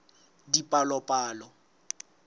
dipalopalo